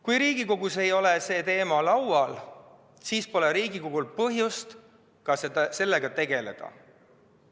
Kui Riigikogus ei ole see teema laual, siis pole Riigikogul põhjust sellega tegeleda.